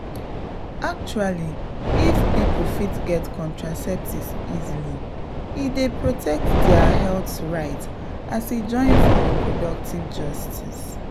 actually if people fit get contraceptives easily e dey protect their health rights as e join for reproductive justice.